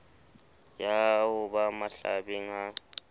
ya ho ba mahlabeng ha